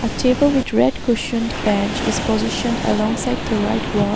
A table with red cushion is positioned along side the right wall.